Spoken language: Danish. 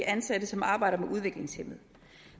ansatte som arbejder med udviklingshæmmede